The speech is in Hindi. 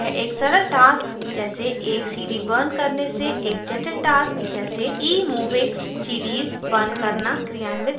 यह एक सरल tasks जैसे एक cd burning करने से एक जटिल tasks जैसे emovix cds burning करना क्रियान्वित कर सकता है